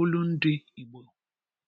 olundị Igbo